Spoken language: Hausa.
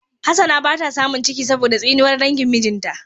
Hassana bata samun ciki ba saboda tsinuwar dangin mijinta.